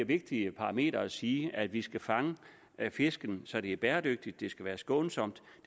vigtigt parameter at sige at vi skal fange fisken så det er bæredygtigt det skal være skånsomt og